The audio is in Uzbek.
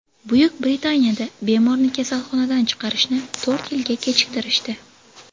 Buyuk Britaniyada bemorni kasalxonadan chiqarishni to‘rt yilga kechiktirishdi.